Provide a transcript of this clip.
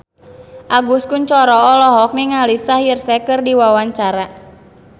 Agus Kuncoro olohok ningali Shaheer Sheikh keur diwawancara